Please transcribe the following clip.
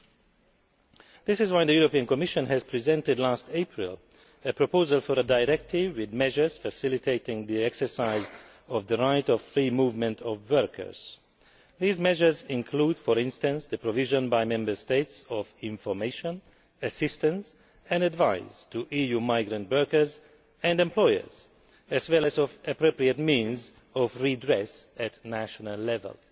This is why, last April, the European Commission presented a proposal for a directive with measures facilitating the exercise of the right of free movement of workers. These measures include, for instance, the provision by Member States of information, assistance and advice to EU migrant workers and employers, as well as of appropriate means of redress at national level.